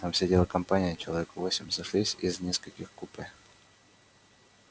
там сидела компания человек восемь сошлись из нескольких купе